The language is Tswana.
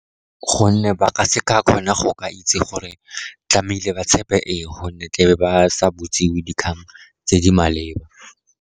Gonne ba ka se ka kgona go ka itse gore tlamehile ba tshepe eng, gonne tla be ba sa botsiwe dikgang tse di maleba.